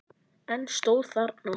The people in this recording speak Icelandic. En stóð þarna.